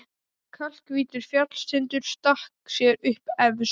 Kalkhvítur fjallstindur stakk sér upp efst.